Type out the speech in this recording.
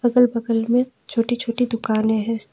और बगल में छोटी छोटी दुकानें हैं।